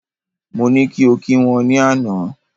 Mo ní kí o kí wọ́n ní àná